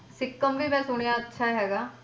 ਸਿੱਕਮ ਵੀ ਮਾਂ ਸੁਣਾਇਆ ਅੱਛਾ ਹੈਗਾ